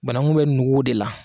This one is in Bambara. Banakun bɛ nugu o de la